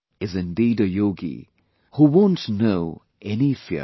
Is indeed a Yogi who won't know any fear